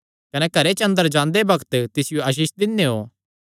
कने घरे च अंदर जांदे बग्त तिसियो आसीष दिनेयों